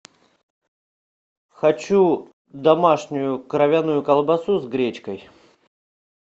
хочу домашнюю кровяную колбасу с гречкой